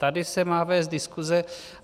Tady se má vést diskuse.